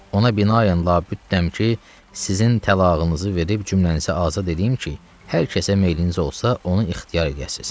Ona binaən lapütəm ki, sizin talağınızı verib cümlənizi azad edim ki, hər kəsə meyliniz olsa onu ixtiyar eləyəsiz.